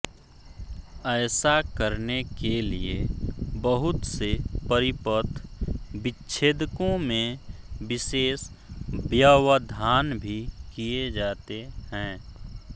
ऐसा करने के लिए बहुत से परिपथ विच्छेदकों में विशेष व्यवधान भी किए जाते हैं